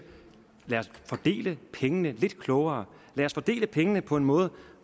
lad os fordele pengene lidt klogere lad os fordele pengene på en måde